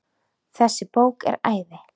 Þessi bók er æði.